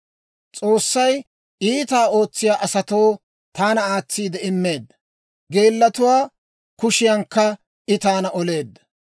S'oossay iitaa ootsiyaa asatoo taana aatsiide immeedda; geelatuwaa kushiyankka I taana oleedda.